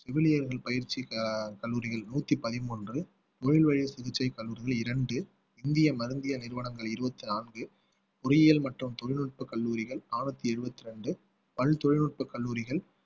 செவிலியர்கள் பயிற்சி கல்லூரிகள் நூத்தி பதிமூன்று சிகிச்சை கல்லூரிகள் இரண்டு இந்தியருந்திய மருந்திய நிறுவனங்கள் இருபத்தி நான்கு பொறியியல் மற்றும் தொழில்நுட்ப கல்லூரிகள் அறுநூத்தி இருபத்தி இரண்டு பல் தொழில்நுட்பக் கல்லூரிகள்